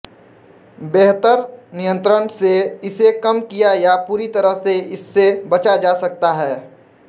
बेहतर नियंत्रण से इसे कम किया या पूरी तरह से इससे बचा जा सकता है